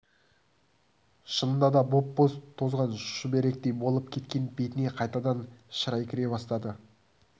шынында да боп-боз тозған шүберектей болып кеткен бетіне қайтадан шырай кіре бастады